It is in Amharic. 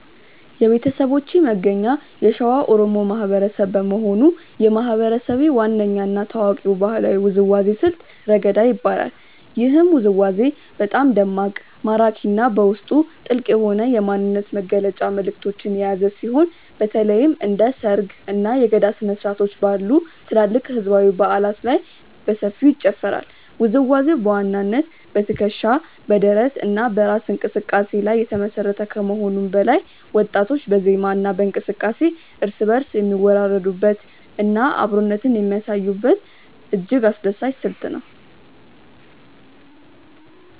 የቤተሰቦቼ መገኛ የሸዋ ኦሮሞ ማህበረሰብ በመሆኑ፣ የማህበረሰቤ ዋነኛ እና ታዋቂው ባህላዊ ውዝዋዜ ስልት "ረገዳ" ይባላል። ይህ ውዝዋዜ በጣም ደማቅ፣ ማራኪ እና በውስጡ ጥልቅ የሆነ የማንነት መግለጫ መልዕክቶችን የያዘ ሲሆን፣ በተለይም እንደ ሰርግ፣ እና የገዳ ስነ-ስርዓቶች ባሉ ትላልቅ ህዝባዊ በዓላት ላይ በሰፊው ይጨፈራል። ውዝዋዜው በዋናነት በትከሻ፣ በደረት እና በእራስ እንቅስቃሴ ላይ የተመሰረተ ከመሆኑም በላይ፣ ወጣቶች በዜማ እና በእንቅስቃሴ እርስ በእርስ የሚወራረዱበት እና አብሮነትን የሚያሳዩበት እጅግ አስደሳች ስልት ነው።